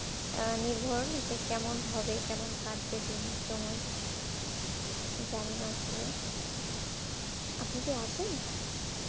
আমি ধরেন কেমন হবে কেমন কাটবে দিন সময় জানিনা আসলে আপনি কি আছেন